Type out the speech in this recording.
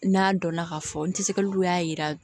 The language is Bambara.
N'a dɔnna k'a fɔ ntɛsɛgɛlu y'a jira